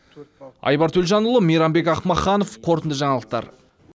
айбар төлжанұлы мейрамбек ақмаханов қорытынды жаңалықтар